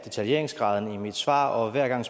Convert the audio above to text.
detaljeringsgraden i mit svar og hver gang